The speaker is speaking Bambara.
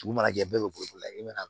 Dugu mana jɛ bɛɛ bɛ bolila i mana